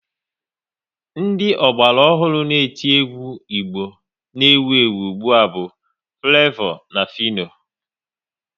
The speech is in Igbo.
Ndị ọgbara ọhụrụ n'eti egwu Igbo na ewu ụgbụa bu Flevo na Fịno